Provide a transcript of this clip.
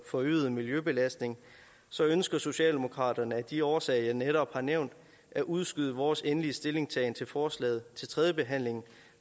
forøgede miljøbelastning ønsker socialdemokraterne af de årsager jeg netop har nævnt at udskyde vores endelige stillingtagen til forslaget til tredje behandling